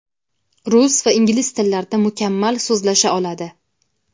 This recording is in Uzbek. Rus va ingliz tillarida mukammal so‘zlasha oladi.